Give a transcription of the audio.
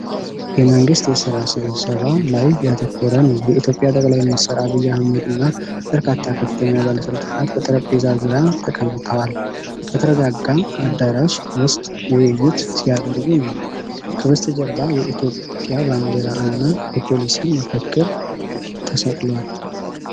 የመንግስት የስራ ስብሰባ ላይ ያተኮረ ነው። የኢትዮጵያ ጠቅላይ ሚኒስትር አብይ አህመድ እና በርካታ ከፍተኛ ባለስልጣናት በጠረጴዛ ዙሪያ ተቀምጠዋል። በተረጋጋ አዳራሽ ውስጥ ውይይት ሲያደርጉ ነው። ከበስተጀርባ የኢትዮጵያ ባንዲራ እና የፖሊሲ መፈክር ተሰቅለዋል።